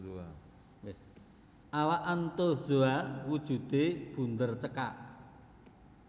Awak Anthozoa wujudé bunder cekak